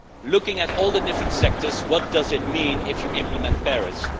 Looking at all the different sectors, what does it mean if you implement Paris?